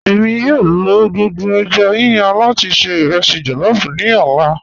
Ẹ̀mi yòó lọ gbogbo èjá yíyàn lati ṣẹ̀ irẹsí jollof ni ọlá.